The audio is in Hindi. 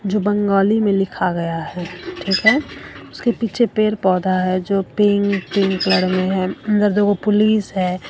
जो बंगाली में लिखा गया है ठीक है उसके पीछे पेड़ पौधा है जो पिंक पिंक कलर में है अंदर दो गो पुलिस है।